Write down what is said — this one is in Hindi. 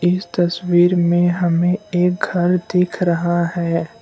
इस तस्वीर में हमें एक घर दिख रहा है।